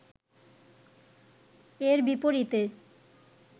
এর বিপরীতে